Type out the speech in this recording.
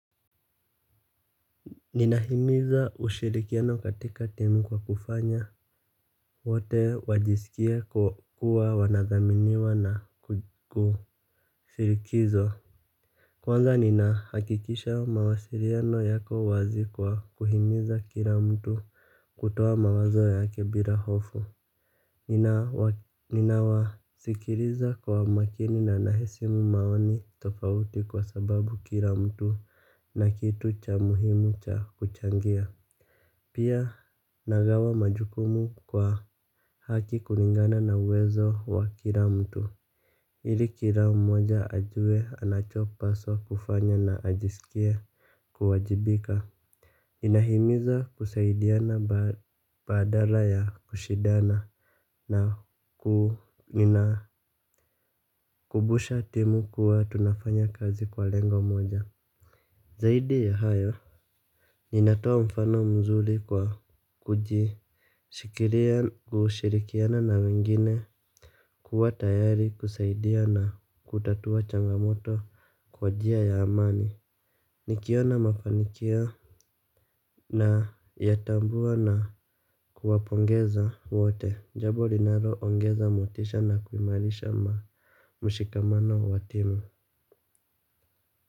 Ninahimiza ushirikiano katika timu kwa kufanya wote wajisikie kuwa wanathaminiwa na kushirikishwa. Kwanza ninahakikisha mawasiliano yako wazi kwa kuhimiza kila mtu kutoa mawazo yake bila hofu. Ninawasikiliza kwa makini na na heshimu mawazo tofauti kwa sababu kila mtu na kitu cha muhimu cha kuchangia. Pia nagawa majukumu kwa haki kulingana na uwezo wa kila mtu ili kila mmoja awe anachopaswa kufanya na ajisikie kuwajibika. Inahimiza kusaidiana badala ya kushindana na kukumbuusha timu kuwa tunafanya kazi kwa lengo moja. Zaidi ya hayo ninatoa mfano mzuri kwa kushikilia kushirikiana na wengine kuwa tayari, kusaidia na kutatua changamoto kwa njia ya amani. Nikiona mafanikio nayatambua na kuwapongeza wote. Jambo linaloongeza motisha na kuimarisha mshikamano wa timu.